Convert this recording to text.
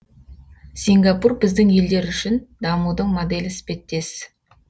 сингапур біздің елдер үшін дамудың моделі іспеттес